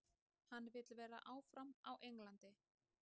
Hann vill vera áfram á Englandi.